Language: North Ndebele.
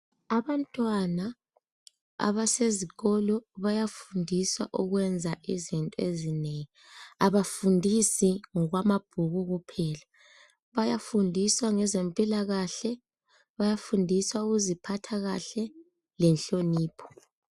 Abantwana abasezikolo bayafundiswa ukwenza izinto ezinengi, abafundisi ngokwamabhuku kuphela. Bayafundiswa ngezempilakahle, bayafundiswa ukuziphatha kahle lenhlonipho.